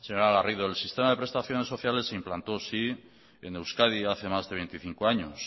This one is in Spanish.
señora garrido el sistema de prestaciones sociales se implantó sí en euskadi hace más de veinticinco años